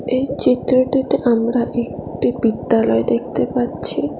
এই চিত্রটিতে আমরা একটি বিদ্যালয় দেখতে পাচ্ছি।